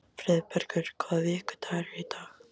Friðbergur, hvaða vikudagur er í dag?